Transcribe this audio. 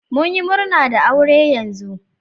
mun yi murna da aure yanzu.